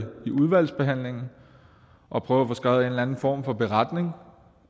udvalgsbehandlingen og prøve at få skrevet en eller anden form for beretning